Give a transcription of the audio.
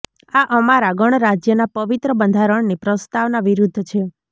આ અમારા ગણરાજ્યના પવિત્ર બંધારણની પ્રસ્તાવના વિરુદ્ધ છે